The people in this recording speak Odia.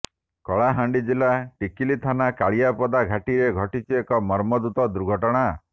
କଳାହାଣ୍ଡି ଜିଲ୍ଲା ଟିକିଲି ଥାନା କାଳିଆପଡ଼ା ଘାଟିରେ ଘଟିଛି ଏକ ମର୍ମନ୍ତୁଦ ଦୁର୍ଘଟଣା